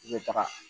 I bɛ taga